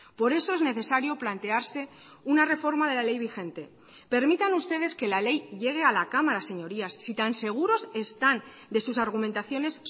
por eso es necesario plantearse una reforma de la ley vigente permitan ustedes que la ley llegue a la cámara señorías si tan seguros están de sus argumentaciones